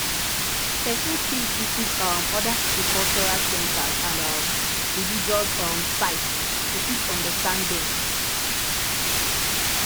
person fit visit um oda pipo cultural centers and um religious um sites to fit understand dem